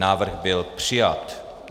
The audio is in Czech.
Návrh byl přijat.